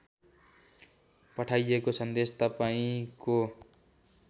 पठाइएको सन्देश तपाईँंको